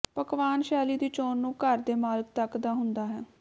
ਪਕਵਾਨ ਸ਼ੈਲੀ ਦੀ ਚੋਣ ਨੂੰ ਘਰ ਦੇ ਮਾਲਕ ਤੱਕ ਦਾ ਹੁੰਦਾ ਹੈ